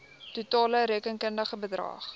totale rekenkundige bedrag